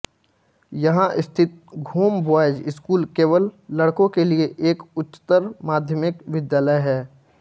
यहां स्थित Ghoom boys school केवल लड़कों के लिए एक उच्चतर माध्यमिक विद्यालय है